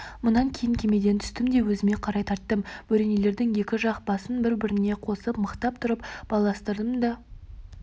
мұнан кейін кемеден түстім де өзіме қарай тарттым бөренелердің екі жақ басын бір-біріне қосып мықтап тұрып байластырдым да